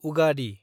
Ugadi